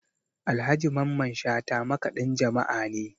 Alhaji Mamman Shata makaɗin jama'a ne